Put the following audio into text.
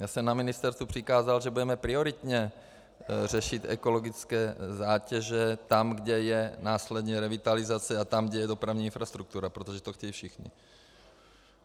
Já jsem na ministerstvu přikázal, že budeme prioritně řešit ekologické zátěže tam, kde je následně revitalizace, a tam, kde je dopravní infrastruktura, protože to chtějí všichni.